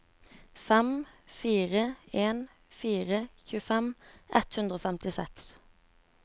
fem fire en fire tjuefem ett hundre og femtiseks